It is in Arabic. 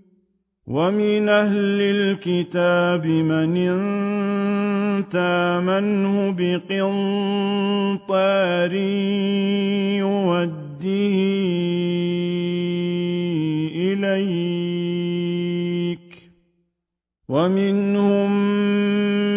۞ وَمِنْ أَهْلِ الْكِتَابِ مَنْ إِن تَأْمَنْهُ بِقِنطَارٍ يُؤَدِّهِ إِلَيْكَ وَمِنْهُم